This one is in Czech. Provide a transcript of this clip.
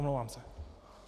Omlouvám se.